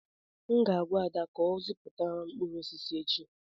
M ga-agwa Ada ka ọ zụta mkpụrụ osisi echi.